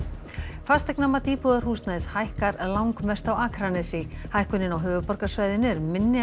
fasteignamat íbúðarhúsnæðis hækkar langmest á Akranesi hækkunin á höfuðborgarsvæðinu er minni en